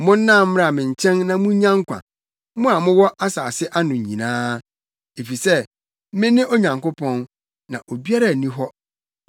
“Monnan mmra me nkyɛn na munnya nkwa, mo a mowɔ asase ano nyinaa; efisɛ mene Onyankopɔn, na obiara nni hɔ.